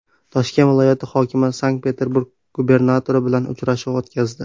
Toshkent viloyati hokimi Sankt-Peterburg gubernatori bilan uchrashuv o‘tkazdi.